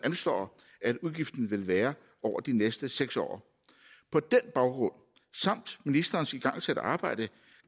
anslår udgiften vil være over de næste seks år på den baggrund samt ministerens igangsatte arbejde